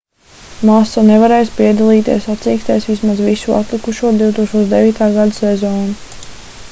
masa nevarēs piedalīties sacīkstēs vismaz visu atlikušo 2009. gada sezonu